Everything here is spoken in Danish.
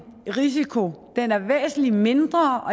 risiko den er væsentlig mindre